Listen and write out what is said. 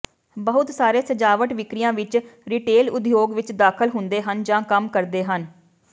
ਬਹੁਤ ਸਾਰੇ ਸਜਾਵਟ ਵਿਕਰੀਆਂ ਵਿੱਚ ਰਿਟੇਲ ਉਦਯੋਗ ਵਿੱਚ ਦਾਖਲ ਹੁੰਦੇ ਹਨ ਜਾਂ ਕੰਮ ਕਰਦੇ ਹਨ